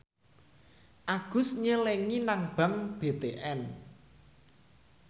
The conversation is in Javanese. Agus nyelengi nang bank BTN